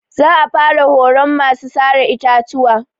Za a fara horon masu sare itatuwa.